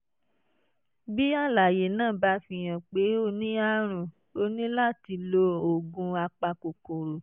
bí àlàyé náà bá fihàn pé o ní àrùn o ní láti lo oògùn apakòkòrò